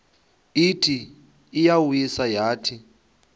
ithi iyawisa yathi